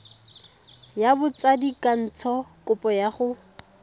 ya botsadikatsho kopo ya go